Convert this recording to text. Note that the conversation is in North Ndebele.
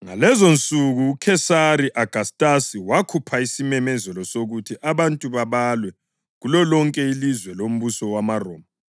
Ngalezonsuku uKhesari Agastasi wakhupha isimemezelo sokuthi abantu babalwe kulolonke ilizwe lombuso wamaRoma.